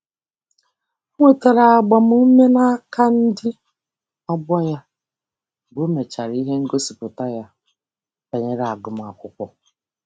O nwetara agbamume n'aka ndị ọgbọ ya mgbe o mechara ihe ngosipụta ya banyere agụmakwụkwọ.